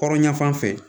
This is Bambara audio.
Hɔrɔnya fan fɛ